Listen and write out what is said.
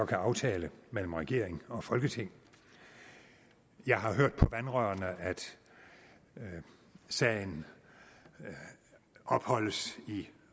kan aftale mellem regeringen og folketinget jeg har hørt på vandrørene at sagen opholdes i